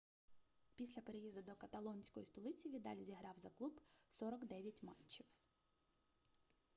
після переїзду до каталонської столиці відаль зіграв за клуб 49 матчів